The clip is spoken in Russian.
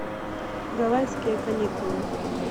гавайские каникулы